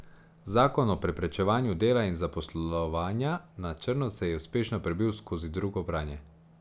Zakon o preprečevanju dela in zaposlovanja na črno se je uspešno prebil skozi drugo branje.